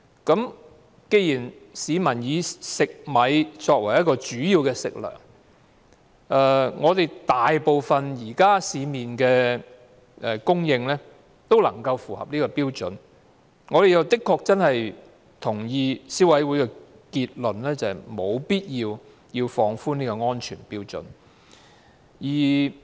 既然市民以食米作為主要食糧，而市面上供應的食米大部分也符合標準，我們確實認同消委會的結論，就是沒有必要放寬這個安全標準。